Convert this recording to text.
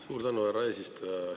Suur tänu, härra eesistuja!